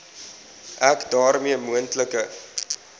ek daarmee moontlike